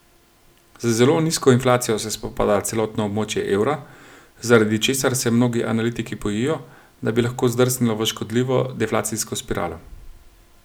Z zelo nizko inflacijo se spopada celotno območje evra, zaradi česar se mnogi analitiki bojijo, da bi lahko zdrsnilo v škodljivo deflacijsko spiralo.